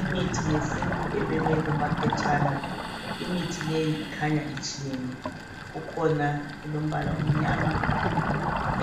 Imithi yesintu ebekwe kumaphetshana imithi leyi ikhanya itshiyene kukhona elombala emnyama